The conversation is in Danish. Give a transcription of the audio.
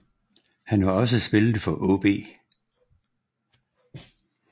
Han har også spillet for AaB